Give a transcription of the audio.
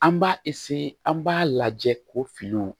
An b'a an b'a lajɛ ko finiw